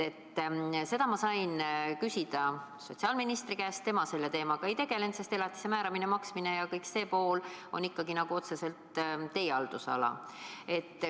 Ma küsisin seda sotsiaalministri käest, tema selle teemaga ei tegele, sest elatise määramine, maksmine ja kogu see pool kuulub ikkagi otseselt teie haldusalasse.